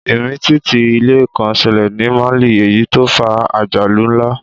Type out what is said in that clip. Ìmìtìtì ilẹ̀ kan ṣẹlẹ̀ ní Mali èyí tó fa àjálù ńlá